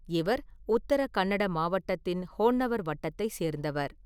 இவர் உத்தர கன்னட மாவட்டத்தின் ஹோன்னவர் வட்டத்தைச் சேர்ந்தவர்.